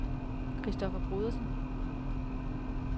Kristoffer Brodersen